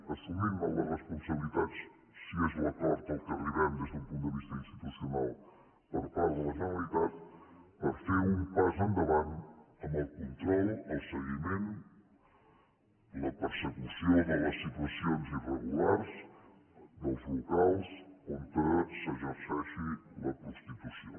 assumint ne les responsabilitats si és l’acord a què arribem des d’un punt de vista institucional per part de la generalitat per fer un pas endavant en el control el seguiment la persecució de les situacions irregulars dels locals on s’exerceixi la prostitució